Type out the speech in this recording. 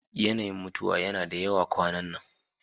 Yanayin mutuwa yana da yawa kwanan nan.